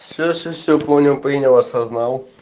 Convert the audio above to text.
всё всё всё понял принял осознал